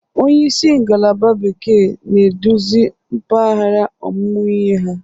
Onyeisi ngalaba bekee na-eduzi mpaghara ọmụmụ ihe ha.